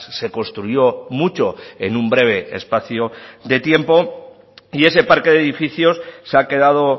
se construyó mucho en un breve espacio de tiempo y ese parque de edificios se ha quedado